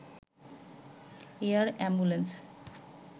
air ambulance